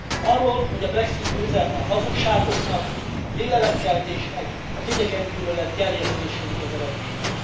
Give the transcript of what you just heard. Arról, hogy a Brexit győzelme a hazugságoknak, a félelemkeltésnek, az idegengyűlölet gerjesztésének az eredménye.